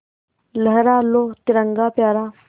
लहरा लो तिरंगा प्यारा